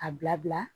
A bila bila